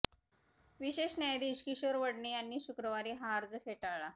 विशेष न्यायाधीश किशोर वढणे यांनीच शुक्रवारी हा अर्ज फेटाळला